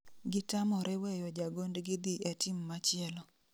Gitamore weyo jagondgi dhi e team machielo